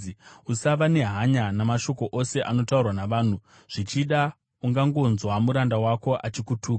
Usava nehanya namashoko ose anotaurwa navanhu, zvichida ungangonzwa muranda wako achikutuka,